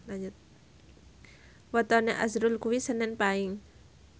wetone azrul kuwi senen Paing